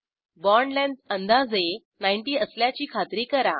bond length अंदाजे 90 असल्याची खात्री करा